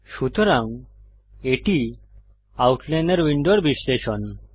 সুতরাং এটি আউটলাইনর উইন্ডোর বিশ্লেষণ